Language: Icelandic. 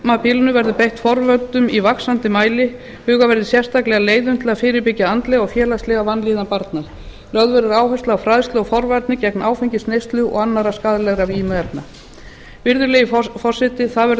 á kjörtímabilinu verður beitt forvörnum í vaxandi mæli hugað verði sérstaklega að leiðum til að fyrirbyggja andlega og félagslega vanlíðan barna lögð verður áhersla á fræðslu og forvarnir gegn áfengisneyslu og annarra skaðlegar vímuefna virðulegi forseti það verður